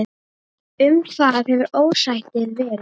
Um hvað hefur ósættið verið?